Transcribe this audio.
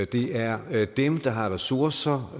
det er dem der har ressourcer